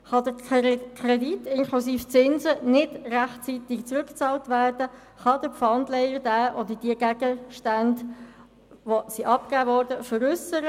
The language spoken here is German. Kann der Kredit inklusive Zinsen nicht rechtzeitig zurückgezahlt werden, kann der Pfandleiher den oder die abgegebenen Gegenstände veräussern.